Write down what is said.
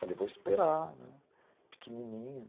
Falei, vou esperar, né, pequenininho.